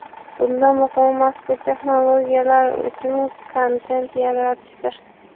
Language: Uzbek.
Bunda muhimi, mazkur texnologiyalar uchun kontent yaratishdir.